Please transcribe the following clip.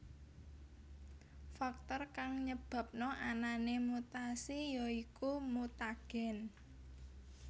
Faktor kang nyebabna anané mutasi ya iku mutagen